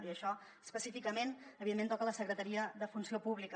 i això específicament evidentment toca la secretaria de funció pública